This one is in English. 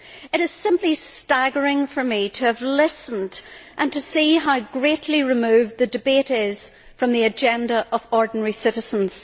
It is simply staggering for me to have listened and to see how greatly removed the debate is from the agenda of ordinary citizens.